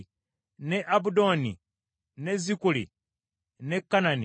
ne Abudoni, ne Zikuli, ne Kanani,